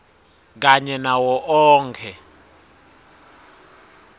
kanye nawo onkhe